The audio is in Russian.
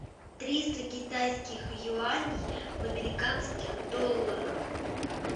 триста китайских юаней в американских долларах